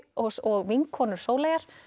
og vinkonur Sóleyjar